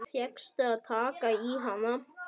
Fékkstu að taka í hana?